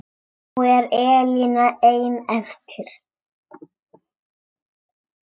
Nú er Elína ein eftir.